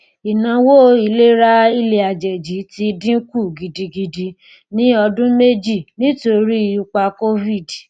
ìnáwó ìlera ilẹàjèjì ti dín kù gidigidi ní ọdún méjì nítorí ipa covid